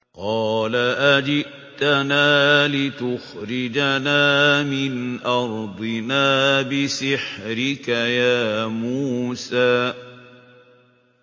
قَالَ أَجِئْتَنَا لِتُخْرِجَنَا مِنْ أَرْضِنَا بِسِحْرِكَ يَا مُوسَىٰ